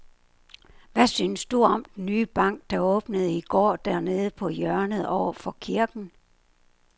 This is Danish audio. Hvad synes du om den nye bank, der åbnede i går dernede på hjørnet over for kirken?